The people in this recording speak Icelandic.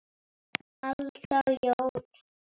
Alda og Jón.